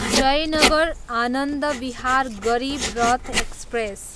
Jaynagar, Anand Vihar Garib Rath express